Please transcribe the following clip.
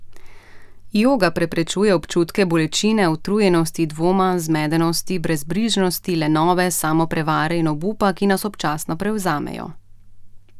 Joga preprečuje občutke bolečine, utrujenosti, dvoma, zmedenosti, brezbrižnosti, lenobe, samoprevare in obupa, ki nas občasno prevzamejo.